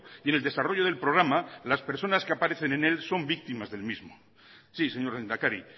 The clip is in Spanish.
y en el desarrollo del programa las personas que aparecen en él son víctimas del mismo sí señor lehendakari